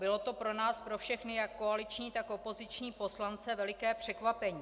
Bylo to pro nás pro všechny, jak koaliční, tak opoziční poslance, veliké překvapení.